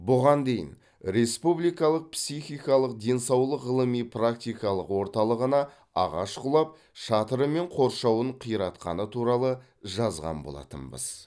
бұған дейін республикалық психикалық денсаулық ғылыми практикалық орталығына ағаш құлап шатыры мен қоршауын қиратқаны туралы жазған болатынбыз